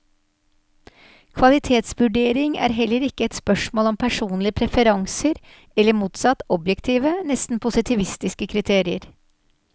Kvalitetsvurdering er heller ikke et spørsmål om personlige preferanser, eller motsatt, objektive, nesten positivistiske kriterier.